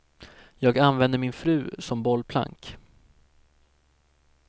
Jag använder min fru som bollplank.